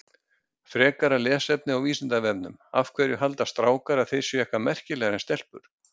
Frekara lesefni á Vísindavefnum Af hverju halda strákar að þeir séu eitthvað merkilegri en stelpur?